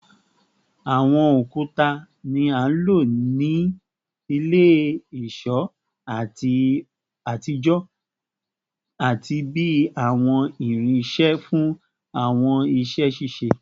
Awọn okuta ni a lo ni ile-iṣọ atijọ ati bi awọn irinṣẹ fun awọn iṣẹ ṣiṣe